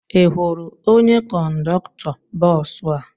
Ị hụrụ onye kọndọktọ bọọsụ a?